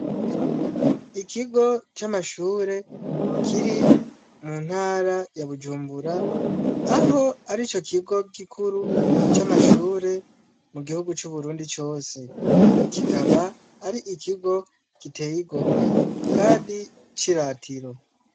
Ikigo c'amashure kiri mu ntara ya Bujumbura, aho arico kigo gikuru c'amashure mu gihugu c'u Burundi cose, kikaba ari ikigo giteye igomwe kandi c'iratiro.